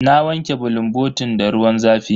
Na wanke bulunbotin da ruwan zafi.